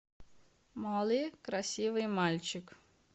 молли красивый мальчик